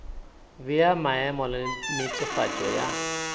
bea maemo le netefatšo ya